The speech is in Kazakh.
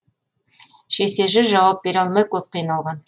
шешесі жауап бере алмай көп қиналған